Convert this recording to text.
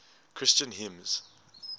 christian hymns